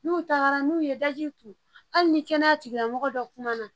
N'u taara n'u ye daji turu hali ni kɛnɛya tigilamɔgɔ dɔ kumana